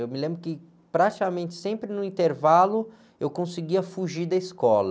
Eu me lembro que praticamente sempre no intervalo eu conseguia fugir da escola.